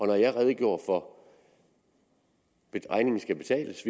når jeg redegjorde for at regningen skal betales